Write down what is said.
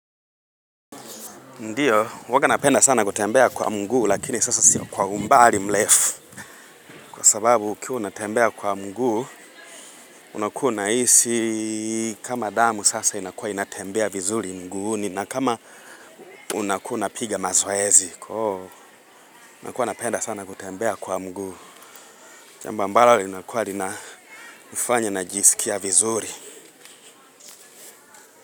Ndiyo, huwanga napenda sana kutembea kwa mguu, lakini sasa si kwa umbali mrefu. Kwa sababu, ukiwa unatembea kwa mguu, unakua unahisi kama damu sasa inakua inatembea vizuri mguuni, na kama unakua napiga mazoezi. Nakua napenda sana kutembea kwa mguu. Jambo ambalo linakua, linafanya najisikia vizuri.